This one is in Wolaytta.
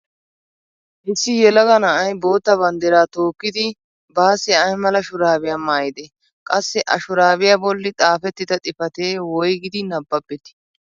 Issi yelaga na'ay bootta banddira tookkidi bassi ay mala shurabiya maayide? Qassi a shurabiya bolli xaafetida xifatee woyggidi nabbabetii ?